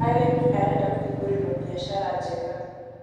Arĩmi arenda kũhingũrĩrwo biashara njega